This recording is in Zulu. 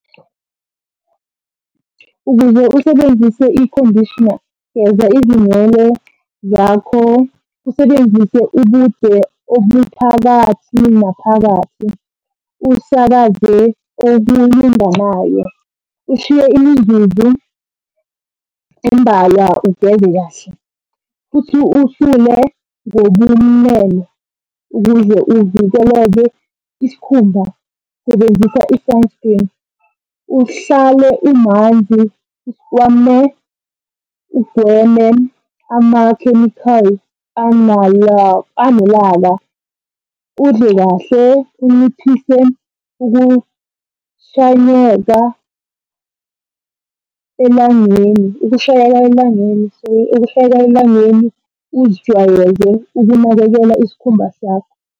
Ukuze usebenzise ikhondishina, geza izinwele zakho usebenzise ubude obuphakathi naphakathi. Usakaze kokulinganayo, ushiye imizuzu embalwa ugeze kahle, futhi usule ngobumnene. Ukuze uvikeleke isikhumba sebenzisa i-sun screen. Uhlale umanzi kwame ugweme amakhemikhali . Udle kahle unciphise ukushanyeka elangeni, ukushayeka elangeni, sorry, ukushayeka elangeni uzijwayeze ukunakekela isikhumba sakho.